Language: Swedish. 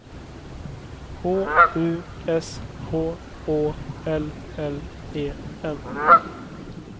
H U S H Å L L E N